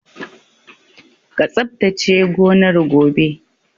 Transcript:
Ka tsabtace gonar gobe!